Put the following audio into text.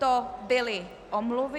To byly omluvy.